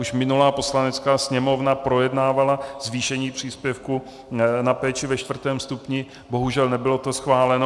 Už minulá Poslanecká sněmovna projednávala zvýšení příspěvku na péči ve čtvrtém stupni, bohužel nebylo to schváleno.